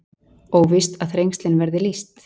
Óvíst að Þrengslin verði lýst